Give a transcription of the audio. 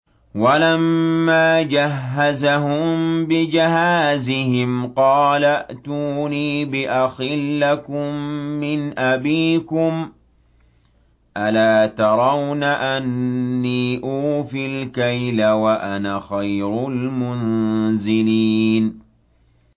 وَلَمَّا جَهَّزَهُم بِجَهَازِهِمْ قَالَ ائْتُونِي بِأَخٍ لَّكُم مِّنْ أَبِيكُمْ ۚ أَلَا تَرَوْنَ أَنِّي أُوفِي الْكَيْلَ وَأَنَا خَيْرُ الْمُنزِلِينَ